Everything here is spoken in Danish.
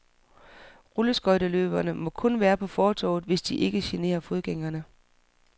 Rulleskøjteløbere må kun være på fortovet, hvis de ikke generer fodgængerne.